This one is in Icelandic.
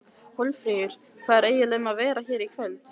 Hólmfríður, hvað er eiginlega um að vera hér í kvöld?